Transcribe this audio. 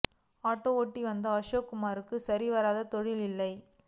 auto ஓட்டி வந்த அசோக்குமாருக்கு சரி வர தொழில் இல்லை